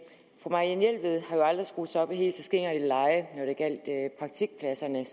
fru marianne jelved har jo aldrig skruet sig op i helt så skingert et leje når det gjaldt praktikpladserne